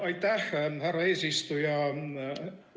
Aitäh, härra eesistuja!